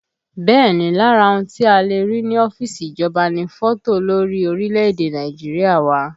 Bẹ́ẹ̀ ni, lára ohun tí a le rí ní ọ́fíìsì ìjọba ni fọ́tò olórí orílẹ̀èdè Nàìjíríà wà